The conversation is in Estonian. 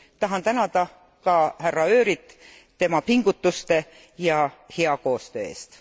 Tahan tänada ka härra Őryt tema pingutuste ja hea koostöö eest.